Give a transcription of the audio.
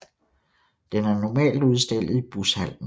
Den er normalt udstillet i Bushallen